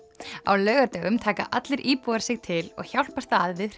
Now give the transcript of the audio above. á laugardögum taka allir íbúar sig til og hjálpast að við